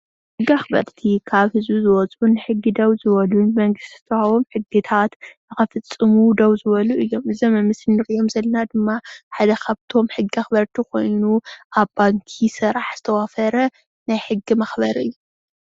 ሕጊ ኣክበርቲ ካብ ህዝቢ ዝወፁ ንሕጊ ደው ዝበሉ መንግስቲ ዝሃቦም ሕግታት ንከፈፅሙ ደው ዝበሉ እዮም። እዛኦም ኣብ ምስሊ እንሪኦም ዘለና ድማ ሓደ ካብቶም ሕጊ አክበረቲ ኾይኑ ኣብ ባንኪ ስራሕ ዝተዋፈረ ናይ ሕጊ መክበሪ እዩ።